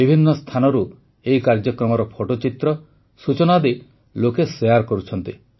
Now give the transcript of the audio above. ବିଭିନ୍ନ ସ୍ଥାନରୁ ଏହି କାର୍ଯ୍ୟକ୍ରମର ଫଟୋଚିତ୍ର ସୂଚନା ଆଦି ଲୋକେ ଶେୟାର କରୁଛନ୍ତି